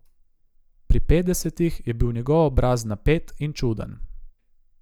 Pri petdesetih je bil njegov obraz napet in čuden.